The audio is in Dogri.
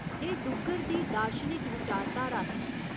एह् डुग्गर दी दार्शनिक विचारधार ही।